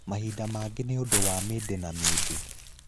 Mahinda mangĩ nĩ ũndũ wa mĩndĩ na mĩndĩ